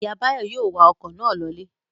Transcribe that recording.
Ìyá Báyọ̀ yóò wa ọkọ̀ náà lọlé.